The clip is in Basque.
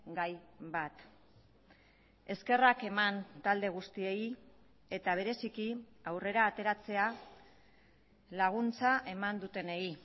gai bat eskerrak eman talde guztiei eta bereziki aurrera ateratzea laguntza eman dutenei